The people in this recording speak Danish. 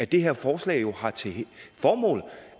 det her forslag har til formål